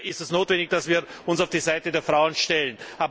Daher ist es notwendig, dass wir uns auf die Seite der Frauen stellen.